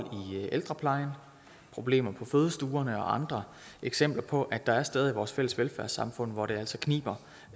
i ældreplejen problemer på fødestuerne og andre eksempler på at der er steder i vores velfærdssamfund hvor det altså kniber